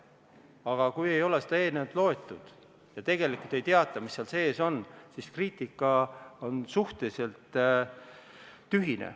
Aga kui ei ole seda eelnõu loetud ja tegelikult ei teata, mis seal sees on, siis on kriitika suhteliselt tühine.